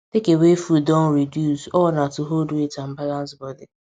takeaway food don reduce all na to hold weight and balance body